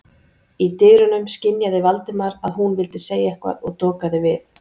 Í dyrunum skynjaði Valdimar að hún vildi segja eitthvað og dokaði við.